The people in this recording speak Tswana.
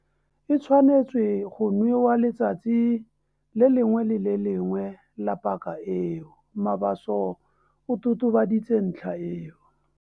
"E tshwanetswe go nwewa letsatsi le lengwe le le lengwe la paka eo," Mabaso o totobaditse ntlha eo.